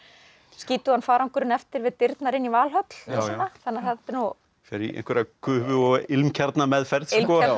skítugan farangurinn eftir við dyrnar inn í Valhöll og svona fer í einhverja gufu og ilmkjarnameðferð ilmkjarnameðferð